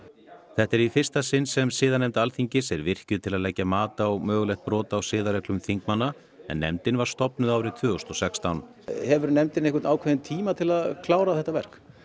þetta er í fyrsta sinn sem siðanefnd Alþingis er virkjuð til að leggja mat á mögulegt brot á siðareglum þingmanna en nefndin var stofnuð árið tvö þúsund og sextán hefur nefndin einhvern ákveðinn tíma til að klára þetta verk